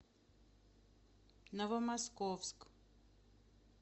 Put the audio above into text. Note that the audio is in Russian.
новомосковск